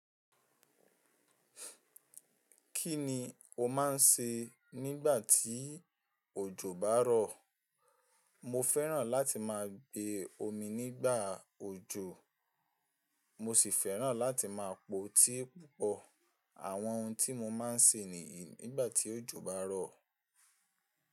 Kí ni o máà ń ṣe nígbà tí òjò bá rọ̀? Mo fẹ́ràn láti máa gbe omi nígbà òjò, mo si fẹ́ràn láti máa po tea púpọ̀. Àwọn ohun tí mo máa ń ṣe nìyí nígbà tí òjò bá rọ̀.